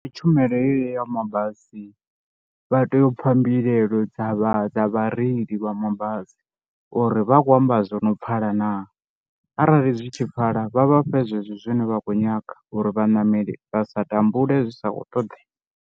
Ndi tshumelo yeyo ya mabasi vha tea u pfha mbilaelo dza vha dza vhareili vha mabasi uri vha khou amba zwo no pfhala na, arali zwi tshi pfhala vha vha fhe zwenezwo zwine vha khou nyaga uri vhaṋameli vha sa tambule zwi sa khou ṱoḓea.